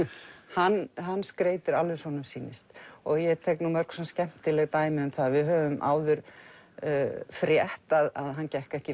hann hann skreytir alveg eins og honum sýnist og ég tek mörg skemmtileg dæmi um það við höfum áður frétt að hann gekk ekki